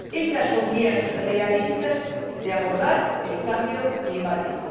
Ésas son vías realistas de abordar el cambio climático.